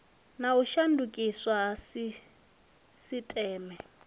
na u shandukiswa ha sisiteme